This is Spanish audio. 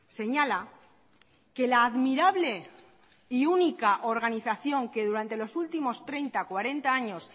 señala que la admirable y única organización que durante los últimos treinta cuarenta años